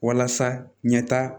Walasa ɲɛtaaa